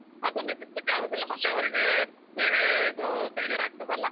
ಅದು ನಿಲ್ಲಿಸ್ಲಿಕೆ ಆಗುದಿಲ್ಲ ಮತ್ತೆ ಅವರಿಗೆ ಬೇರೆ ಇದು ಬೇಜಾರ್ ಆಗ್ತದಲ್ಲಾ.